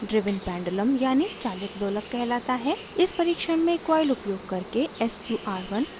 इस परिक्षण में coil उपयोग करके sqr1 ground gnd से जोड़ा गया है